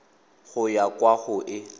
go ya kwa go e